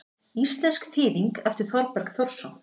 Íslensk þýðing eftir Þorberg Þórsson.